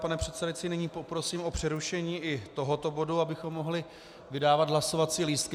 Pane předsedající, nyní poprosím o přerušení i tohoto bodu, abychom mohli vydávat hlasovací lístky.